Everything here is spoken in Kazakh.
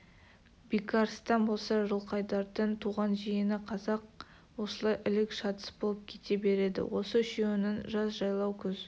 бекарыстан болса жылқайдардың туған жиені қазақ осылай ілік-шатыс болып кете береді осы үшеуінің жаз жайлау күз